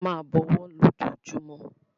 A máa bọwọ́ lójoojúmú.